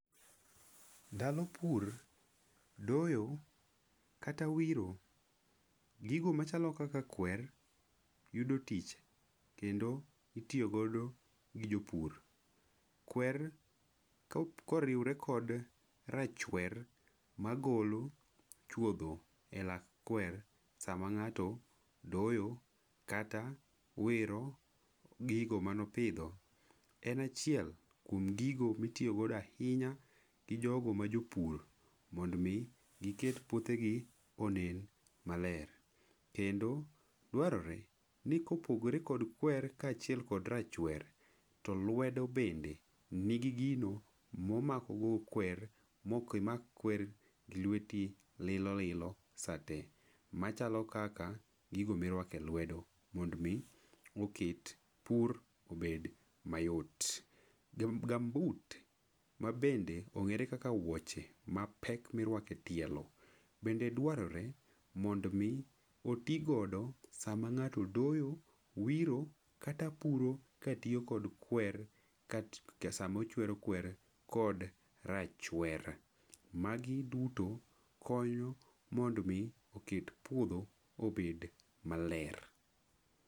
Ndalo pur, doyo kata wiro. Gigo machalo kaka kwer, yudo tich, kendo itiyo godo gi jo pur. Kwer ka oriwore kod rachwer magolo chwodho e lak kwer, sama ng'ato doyo, kata wiro gigo manopidho. En achiel kuom gigo mitiyo godo ahinya gi jogo ma jo pur mondo omi giket puothegi onen maler. Kendo dwarore ni kopogre kod kwer ka achiel kod rachwer, to lwedo bende, nigi gino momakogo kwer, mokimak kwer gi lweti lilo lilo sate. Machalo kaka gigo mirwake lwedo mond mi oket pur obed mayot. Gumboot mabende ong'ere kaka wuoche mapek mirwake tielo bende dwarore mond mi oti godo sama ng'ato doyo, wiro, kata puro, katiyo kod kwer, ka sama ochuero kwer kod rachwer. Magi duto konyo mond mi oket puodho obed maler.